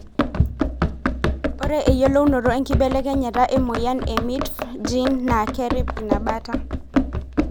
Ore eyiolounoto enkibelekenyata emoyian e MITF gene na kerip ina baata.